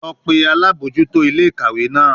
Lọ pe alabojuto ile-ikawe naa!